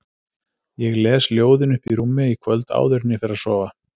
Ég les ljóðin uppi í rúmi í kvöld áður en ég fer að sofa